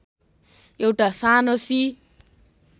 एउटा सानो सी